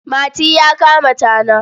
Mati ya kama tana.